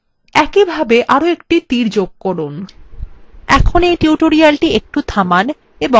একই ভাবে arrow একটা তীর যোগ করুন